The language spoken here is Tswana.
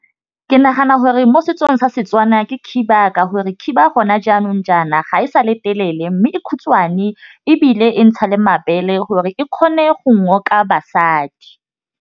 Ke nagana gore mo setsong sa Setswana ke khiba. Ka gore khiba gone jaanong jaana ga e sa le telele mme e khutshwane ebile e ntsha le mabele gore e kgone go basadi.